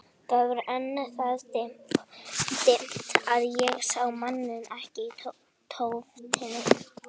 Það var enn það dimmt að ég sá manninn ekki í tóftinni.